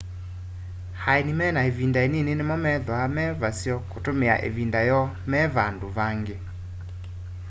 aeni mena ivinda inini nimo methwa me vaseo kutumia ivinda yoo me vandu vangi